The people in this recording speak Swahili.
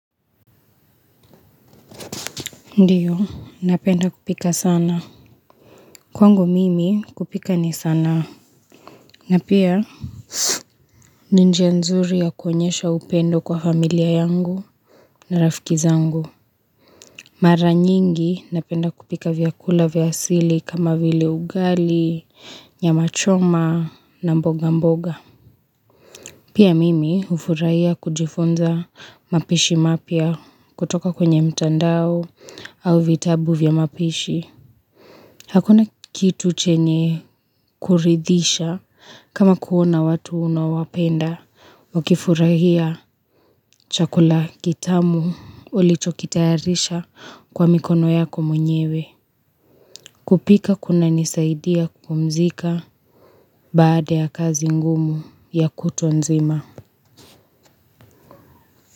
Ndiyo, napenda kupika sana. Kwangu mimi kupika ni sana. Na pia, ni njia nzuri ya kuonyesha upendo kwa familia yangu na rafiki zangu. Mara nyingi napenda kupika vyakula vya asili kama vile ugali, nyama choma na mboga mboga. Pia mimi ufurahia kujifunza mapishi mapya kutoka kwenye mtandao au vitabu vya mapishi. Hakuna kitu chenye kuridhisha kama kuona watu unaowapenda. Wakifurahia chakula kitamu ulichokitayarisha kwa mikono yako mwenyewe. Kupika kunanisaidia kupumzika baada ya kazi ngumu ya kutu nzima.